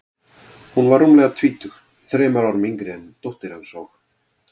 Hún var rúmlega tvítug, þremur árum yngri en dóttir hans, og